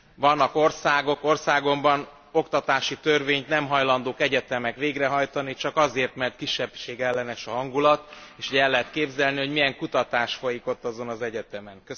Vannak országok, országomban oktatási törvényt nem hajlandók egyetemek végrehajtani, csak azért mert kisebbségellenes a hangulat, és el lehet képzelni, hogy milyen kutatás folyik ott azon az egyetemen.